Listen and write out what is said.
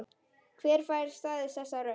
Hver fær staðist þessa rödd?